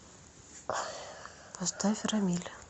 поставь рамиль